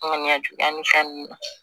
Ŋɔni ya juguya ni fɛn ninnu na